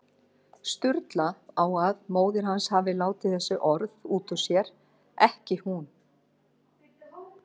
Sturlu á að móðir hans hafi látið þessi orð út úr sér, ekki hún.